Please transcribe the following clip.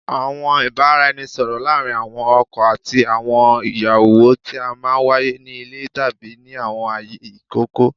Awọn ibaraẹnisọrọ laarin awọn ọkọ ati awọn iyawo ti a maa n waye ni ile tabi ni awọn aaye ikọkọ